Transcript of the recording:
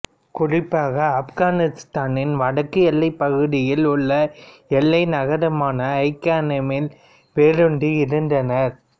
குறிப்பாக ஆப்கானித்தானின் வடக்கு எல்லைப் பகுதியில் உள்ள எல்லை நகரமான ஐ கனெமில் வேரூன்றி இருந்தனர்